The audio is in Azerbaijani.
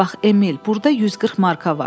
Bax Emil, burda 140 marka var.